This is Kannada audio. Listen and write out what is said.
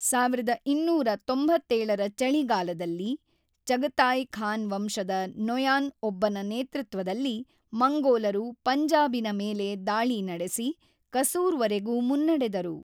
೧೨೯೭ರ ಚಳಿಗಾಲದಲ್ಲಿ, ಚಗತಾಯ್ ಖಾನ್‌ವಂಶದ ನೊಯಾನ್‌ ಒಬ್ಬನ ನೇತೃತ್ವದಲ್ಲಿ ಮಂಗೋಲರು ಪಂಜಾಬಿನ ಮೇಲೆ ದಾಳಿ ನಡೆಸಿ, ಕಸೂರ್‌ವರೆಗೂ ಮುನ್ನಡೆದರು.